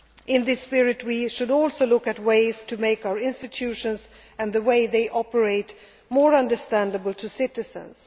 by example. In this spirit, we should also look at ways to make our institutions and the way they operate more understandable